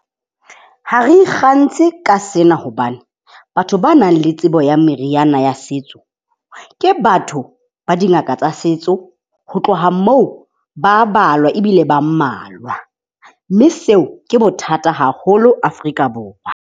Ha re ikgantshe ka sena hobane batho ba nang le tsebo ya meriana, ya setso ke batho ba dingaka tsa setso. Ho tloha moo ba a balwa ebile ba mmalwa. Mme seo ke bothata haholo Afrika Borwa.